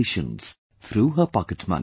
patients through her pocket money